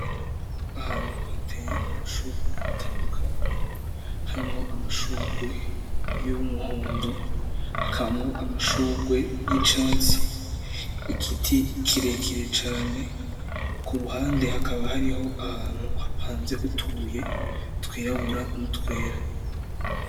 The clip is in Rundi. Ahantu hateye amashurwe atandukanye, harimwo amashurwe y'umuhondo, hakabamwo amashurwe y'icatsi. Igiti kirekire cane, ku ruhande hakaba hariho ahantu hapanze utubuye twirabura n'utwera.